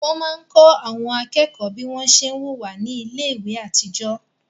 Wọ́n máa ń kọ́ àwọn akẹ́kọ̀ọ́ bí wọ́n ṣé ń wùwá ní iléèwé àtijọ́